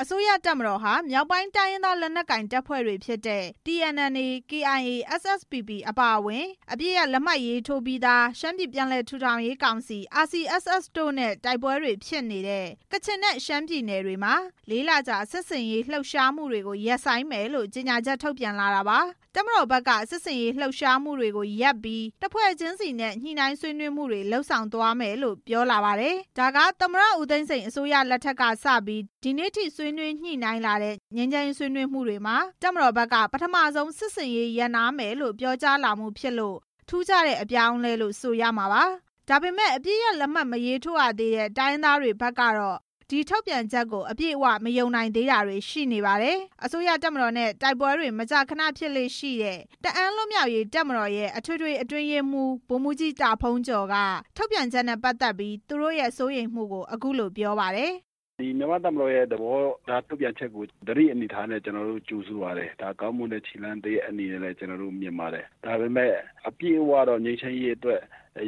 အစိုးရတပ်မတော်ဟာ မြောက်ပိုင်းတိုင်းရင်းသား လက်နက်ကိုင်တပ်ဖွဲ့တွေဖြစ်တဲ့ TNLA၊ KIA၊ SSPP အပါအဝင် အပစ်ရပ်လက်မှတ်ထိုးပြီးသား ရှမ်းပြည်ပြန်လည်ထူထောင်ရေးကောင်စီ RCSS တို့နဲ့ တိုက်ပွဲတွေဖြစ်နေတဲ့ ကချင်နဲ့ ရှမ်းပြည်နယ်တွေမှာ ၄ လ ကြာ စစ်ဆင်ရေးလှုပ်ရှားမှုတွေကို ရပ်ဆိုင်းမယ်လို့ ကြေညာချက် ထုတ်ပြန်လာတာပါ။ တပ်မတော်ဘက်က စစ်ရေးလှုပ်ရှားမှုတွေကိုရပ်ပြီး အဖွဲ့တစ်ဖွဲ့ချင်းစီနဲ့ ညှိနှိုင်းဆွေးနွေးမှုတွေ လုပ်ဆောင်သွားမယ်လို့ ပြောလာပါတယ်။ ဒါက သမ္မတ ဦးသိန်းစိန် လက်ထက်ကစပြီး ဒီနေ့အထိ ဆွေးနွေးညှိနှိုင်းလာတဲ့ ငြိမ်းချမ်းရေးဆွေးနွေးမှုမှာ တပ်မတော်ဘက်က ပထမဆုံးစစ်ဆင်ရေးရပ်နားမယ်လို့ ပြောကြားလာမှုဖြစ်လို့ ထူးခြားတဲ့ အပြောင်းအလဲလို့ ဆိုရမှာပါ။ ဒါပေမဲ့ အပစ်ရပ်လက်မှတ် မရေးထိုးရသေးတဲ့ တိုင်းရင်းသားတွေဘက်ကတော့ ဒီထုတ်ပြန်ချက်ကို အပြည့်အဝ မယုံနိုင်သေးတာတွေ ရှိနေပါတယ်။ အစိုးရတပ်မတော်နဲ့ တိုက်ပွဲတွေ မကြာခဏဖြစ်လေ့ရှိတဲ့ တအာင်းလွတ်မြောက်ရေးတပ်မတော်ရဲ့ အထွေထွေ အတွင်းရေးမှူး ဗိုလ်မှူးကြီး တာဖုန်းကျော်က ထုတ်ပြန်ချက်နဲ့ ပတ်သက်ပြီး သူတို့ရဲ့ စိုးရိမ်မှုကို အခုလို ပြောပါတယ်။ "မြန်မာ့တပ်မတော်ရဲ့ ထုတ်ပြန်ချက်ကို ကျနော်တို့ သတိအနေအထားနဲ့ ကြိုဆိုပါတယ်။ ဒါဟာကောင်းမွန်တဲ့ ခြေလှမ်းတစ်ရပ်အနေနဲ့လည်း ကျနော်တို့ မြင်ပါတယ်။ ဒါပေမဲ့ အပြည့်အဝတော့ ငြိမ်းချမ်းရေးအတွက်